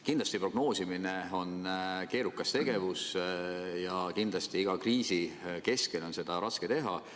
Kindlasti on prognoosimine keerukas tegevus ja kindlasti on iga kriisi keskel seda raske teha.